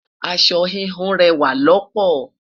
aṣọ híhun rẹwa loopo